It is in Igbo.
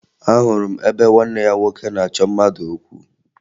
Ahụrụ m ebe nwanne ya nwoke na-achọ mmadụ okwu